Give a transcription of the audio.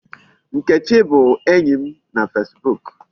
Nkechi bụ enyi m na Facebook.